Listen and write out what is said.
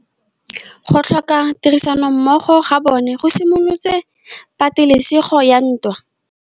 Go tlhoka tirsanommogo ga bone go simolotse patêlêsêgô ya ntwa.